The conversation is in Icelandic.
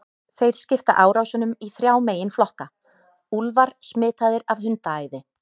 Þeir skipta árásunum í þrjá meginflokka: Úlfar smitaðir af hundaæði.